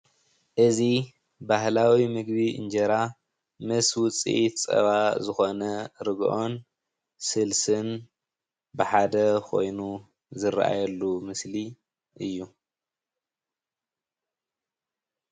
እዚ ባህላዊ ምግቢ እንጀራ ምስ ዉፅኢት ፀባ ዝኾነ ርግኦን ስልስን ብሓደ ኾይኑ ዝርኣየሉ ምስሊ እዩ።